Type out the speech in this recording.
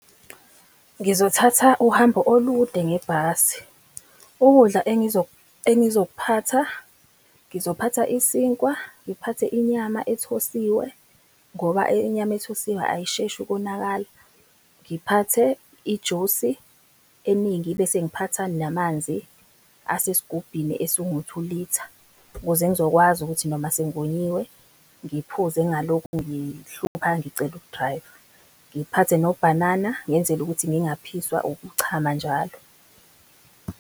Ngizothatha uhambo olude ngebhasi. Ukudla engizokuphatha, ngizophatha isinkwa, ngiphathe inyama ethosiwe, ngoba inyama ethosiwe ayisheshi ukonakala, ngiphathe ijusi eningi, bese ngiphatha namanzi asesigubhini esingu-two litre, ukuze ngizokwazi ukuthi noma sengonyiwe ngiphuze ngalokhu ngihlupha ngicele u-driver, ngiphathe nobhanana ngenzele ukuthi ngingaphiswa ukuchama njalo.